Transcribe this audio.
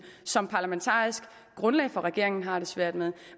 som parlamentarisk grundlag for regeringen har det svært med